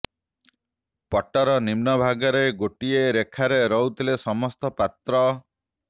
ପଟ୍ଟର ନିମ୍ନ ଭାଗରେ ଗୋଟିଏ ରେଖାରେ ରହୁଥିଲେ ସମସ୍ତ ପାତ୍ର